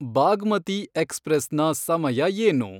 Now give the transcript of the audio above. ಬಾಗ್ಮತಿ ಎಕ್ಸ್‌ಪ್ರೆಸ್‌ನ ಸಮಯ ಏನು